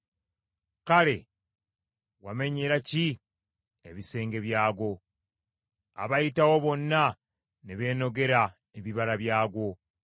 Kale wamenyera ki ebisenge byagwo, abayitawo bonna ne beenogera ebibala byagwo?